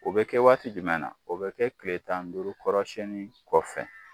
O bɛ kɛ waati jumɛn na o bɛ kɛ kile tan ni duuru kɔrɔ siyɛnni kɔfɛ.